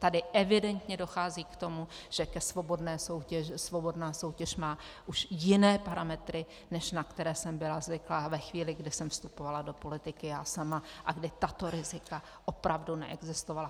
Tady evidentně dochází k tomu, že svobodná soutěž má už jiné parametry, než na které jsem byla zvyklá ve chvíli, kdy jsem vstupovala do politiky já sama, a kde tato rizika opravdu neexistovala.